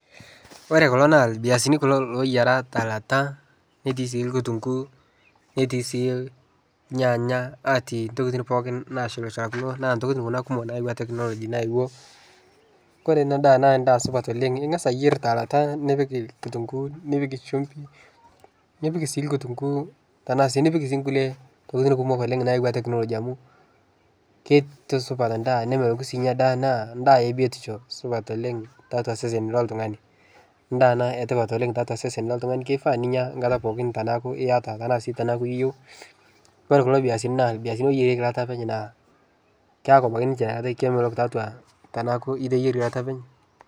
Ore kulo naa irviasini kulo looyiara telata netii sii kutung'uu, netii sii nyaanya, atii intokitin pookin naashulshulakino naa intokitin kuna kumok naayawua teknology nayewuo. Kore ena daa naa endaa supat oleng', ing'asa ayer telata nipik kitung'uu, nipik shumbi, nipik sii nkutunguu tenaa sii nipik sii nkulie tokitin kumok oleng' naayawua teknology amu kitusupat endaa nemeloku sii endaa naa endaa e biotisho supat oleng' taatua osesen loltung'ani. Endaa ena e tipat oleng' tiatua osesen loltung'ani kifaa ninya enkata pookin tenaaku iyata tenaa sii tenaaku iyeu. Ore kulo viazini naa irviazini ooyierieki elata openy naa keeku ninch kemelok atua tenaaku iteyierie eilata openy.